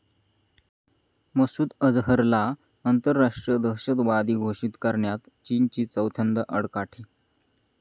मसूद अजहरला आंतरराष्ट्रीय दहशतवादी घोषित करण्यात चीनची चौथ्यांदा आडकाठी